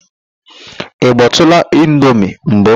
Ị gbọtụụla indomi mbụ?